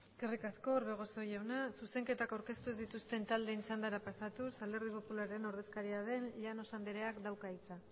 eskerrik asko orbegozo jauna zuzenketak aurkeztu ez dituzten taldeen txandara pasatuz alderdi popularraren ordezkaria den llanos andreak dauka hitza